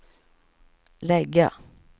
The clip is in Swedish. lägga